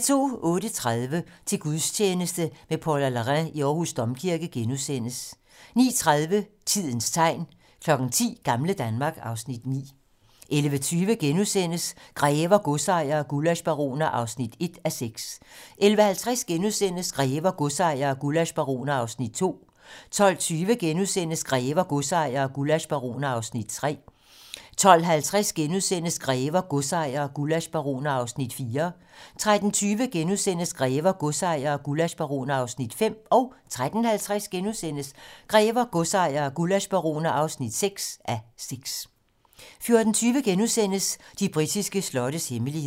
08:30: Til gudstjeneste med Paula Larrain i Aarhus Domkirke * 09:30: Tidens tegn 10:00: Gamle Danmark (Afs. 9) 11:20: Grever, godsejere og gullaschbaroner (1:6)* 11:50: Grever, godsejere og gullaschbaroner (2:6)* 12:20: Grever, godsejere og gullaschbaroner (3:6)* 12:50: Grever, godsejere og gullaschbaroner (4:6)* 13:20: Grever, godsejere og gullaschbaroner (5:6)* 13:50: Grever, godsejere og gullaschbaroner (6:6)* 14:20: De britiske slottes hemmeligheder *